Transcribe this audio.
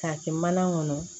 K'a kɛ mana kɔnɔ